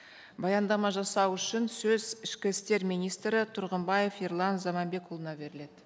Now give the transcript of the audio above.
баяндама жасау үшін сөз ішкі істер министрі тұрғымбаев ерлан заманбекұлына беріледі